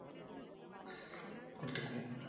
எடுத்துக்குவோம்